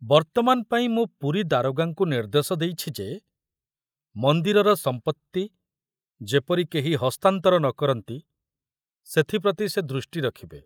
ବର୍ତ୍ତମାନ ପାଇଁ ମୁଁ ପୁରୀ ଦାରୋଗାଙ୍କୁ ନିର୍ଦ୍ଦେଶ ଦେଇଛି ଯେ ମନ୍ଦିରର ସମ୍ପତ୍ତି ଯେପରି କେହି ହସ୍ତାନ୍ତର ନ କରନ୍ତି ସେଥିପ୍ରତି ସେ ଦୃଷ୍ଟି ରଖିବେ।